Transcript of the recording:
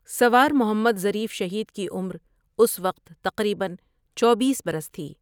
سوار محمد ظریف شہید کی عمر اس وقت تقریباً چوبیس برس تھی ۔